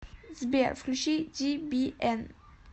сбер включи дибиэн